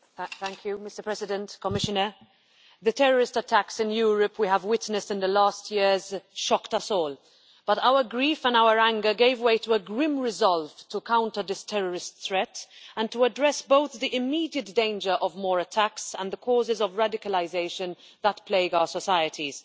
Mr President, the terrorist attacks in Europe that we have witnessed in the last years shocked us all, but our grief and our anger gave way to a grim resolve to counter the terrorist threat and to address both the immediate danger of more attacks and the causes of radicalisation that plague our societies.